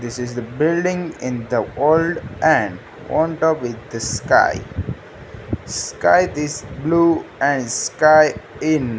this is the building in the old and on top with the sky sky this blue and sky in --